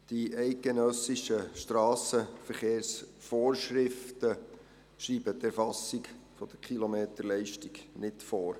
Die eidgenössischen Strassenverkehrsvorschriften schreiben die Erfassung der Kilometerleistung nicht vor.